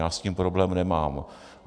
Já s tím problém nemám.